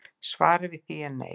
Svarið við því er nei